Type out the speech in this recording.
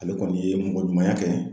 Ale kɔni ye mɔgɔ ɲumanya kɛ